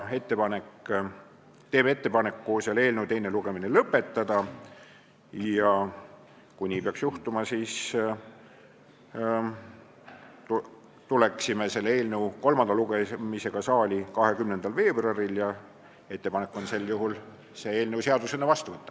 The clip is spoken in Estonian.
Me teeme ettepaneku eelnõu teine lugemine lõpetada ja kui nii peaks juhtuma, siis tuleksime selle eelnõu kolmanda lugemisega saali 20. veebruaril ning sel juhul on ettepanek eelnõu seadusena vastu võtta.